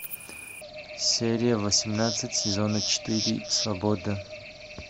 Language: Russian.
серия восемнадцать сезона четыре свобода